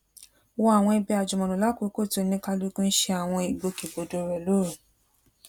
wọ àwọn ibi àjùmọlò lákòókò tí oníkálukú n ṣe àwọn ìgbòkègbodò rẹ lóru